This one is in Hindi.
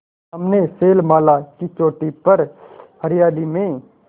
सामने शैलमाला की चोटी पर हरियाली में